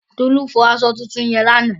Tolú fọ aṣọ funfun yẹn lánàá.